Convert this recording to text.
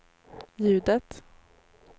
ljudet